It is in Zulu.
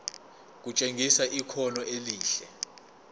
kutshengisa ikhono elihle